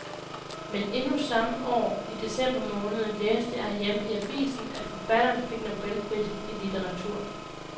Men endnu samme år, i december måned, læste jeg herhjemme i avisen, at forfatteren fik nobelprisen i litteratur.